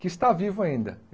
que está vivo ainda.